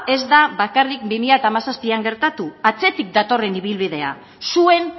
ez da bakarrik bi mila hamazazpian gertatu atzetik datorren ibilbidea zuen